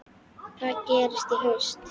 Hvað gerist í haust?